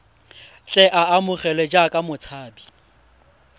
tle a amogelwe jaaka motshabi